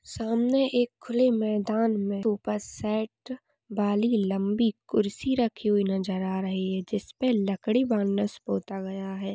सामने एक खुली मैदान मे सोफ़ा सेट वाली लंबी कुर्सी राखी हुई नजर आ रही है जिसपे लकड़ी बानस पोथा गया है।